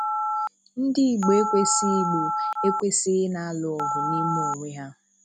Ndị Igbo ekwesighi Igbo ekwesighi ị na-alụ ọgụ n'ime onwe ha